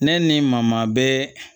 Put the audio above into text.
Ne ni n ma maa bɛɛ